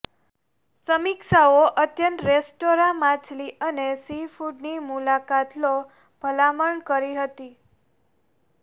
સમીક્ષાઓ અત્યંત રેસ્ટોરાં માછલી અને સીફૂડ ની મુલાકાત લો ભલામણ કરી હતી